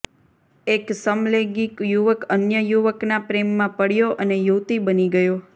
એક સમલૈંગિક યુવક અન્ય યુવકના પ્રેમમાં પડ્યો અને યુવતી બની ગયો